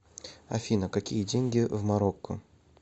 афина какие деньги в марокко